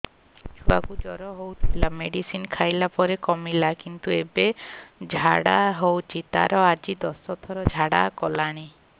ଛୁଆ କୁ ଜର ହଉଥିଲା ମେଡିସିନ ଖାଇଲା ପରେ କମିଲା କିନ୍ତୁ ଏବେ ଝାଡା ହଉଚି ତାର ଆଜି ଦଶ ଥର ଝାଡା କଲାଣି